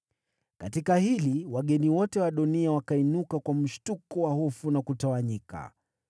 Katika hili, wageni wote wa Adoniya wakainuka kwa mshtuko wa hofu na kutawanyika.